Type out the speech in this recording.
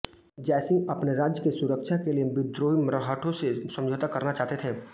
जयसिंह अपने राज्य की सुरक्षा के लिए विद्रोही मरहठों से समझौता करना चाहते थे